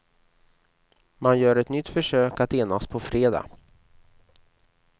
Man gör ett nytt försök att enas på fredag.